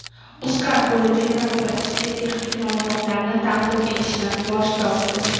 UzCard bo‘lajak raqobatchisiga texnik ma’lumotlarni taqdim etishdan bosh tortdi.